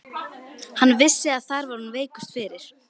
Hann vissi að þar var hún veikust fyrir.